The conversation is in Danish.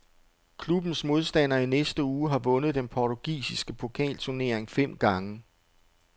Klubbens modstander i næste uge har vundet den portugisiske pokalturnering fem gange.